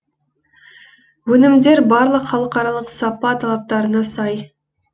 өнімдер барлық халықаралық сапа талаптарына сай